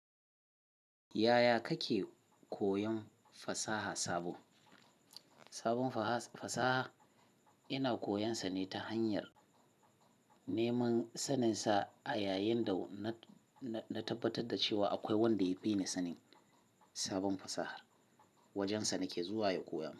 Yaya kake koyan fasaha sabo? Sabon faha, fasaha ina koyansa ne ta hanyar neman saninsa a yayin da na na na tabbatar da cewa akwai wanda ya fi ni sanin sabon fasahar. Wajensa nake zuwa ya koya mun.